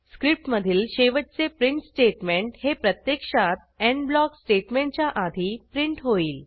स्क्रिप्टमधील शेवटचे print statement हे प्रत्यक्षात एंड ब्लॉक स्टेटमेंटच्या आधी प्रिंट होईल